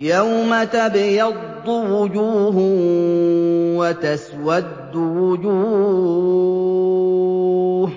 يَوْمَ تَبْيَضُّ وُجُوهٌ وَتَسْوَدُّ وُجُوهٌ ۚ